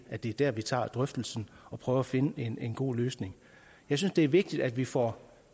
at det er der vi tager drøftelsen og prøver at finde en en god løsning jeg synes det er vigtigt at vi får